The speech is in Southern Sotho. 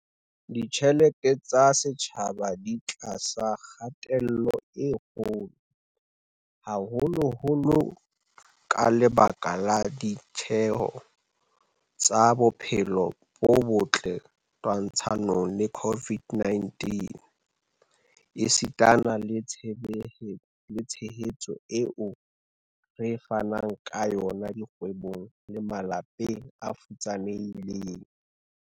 Ditjhelete tsa setjhaba di tlasa kgatello e kgolo, haholoholo ka lebaka la ditjeho tsa bophelo bo botle twantshanong le COVID-19 esitana le tshehetso eo re fanang ka yona dikgwebong le malapeng a futsanehileng.